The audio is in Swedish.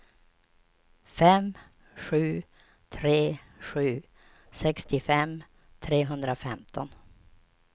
fem sju tre sju sextiofem trehundrafemton